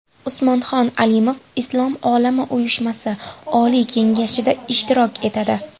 Usmonxon Alimov Islom olami uyushmasi Oliy kengashida ishtirok etadi.